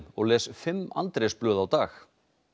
og les fimm á dag